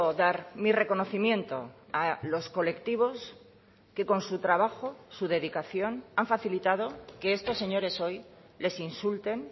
dar mi reconocimiento a los colectivos que con su trabajo su dedicación han facilitado que estos señores hoy les insulten